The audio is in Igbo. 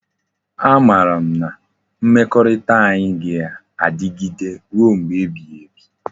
A mara m na mmekorita anyi ga adigide ruo mgbe ebighi ebi